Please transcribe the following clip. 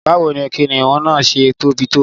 Báwo ni kìnnìún náà ṣẹ̀ tóbi tó?